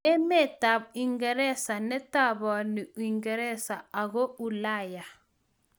Emetab Uingereza netabaani Uingereza ago Ulaya